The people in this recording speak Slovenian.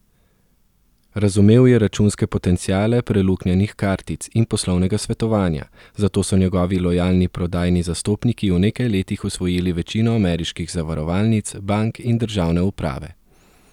Razumel je računske potenciale preluknjanih kartic in poslovnega svetovanja, zato so njegovi lojalni prodajni zastopniki v nekaj letih osvojili večino ameriških zavarovalnic, bank in državne uprave.